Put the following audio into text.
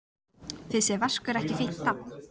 Finnst þér Vaskur ekki fínt nafn?